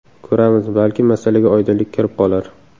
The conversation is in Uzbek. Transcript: Ko‘ramiz, balki masalaga oydinlik kirib qolar...